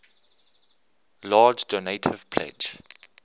large donative pledge